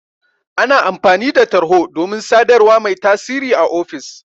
Ana amfani da Tarho domin sadarwa mai tasiri a ofis.